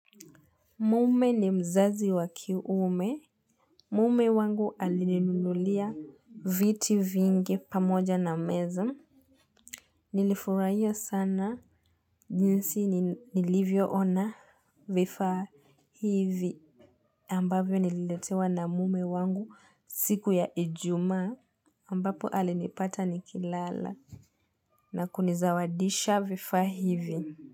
Mume ni mzazi wa kiume. Mume wangu alininunulia viti vingi pamoja na. Nilifurahia sana jinsi nilivyoona vifaa hivi. Ambavyo nililetewa na mume wangu siku ya ijumaa. Ambapo alinipata nikilala na kunizawadisha vifaa hivi.